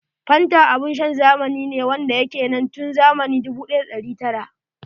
Fanta abun shan zamani ne wanda ya ke nan tun zamani 1900s.